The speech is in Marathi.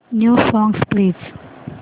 new songs please